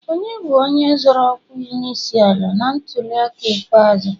Onye bụ onye zọro ọkwa onyeisiala na ntuliaka ikpeazụ?